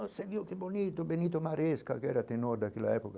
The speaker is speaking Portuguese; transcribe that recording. Você viu que bonito, bonito que era tenor daquela época.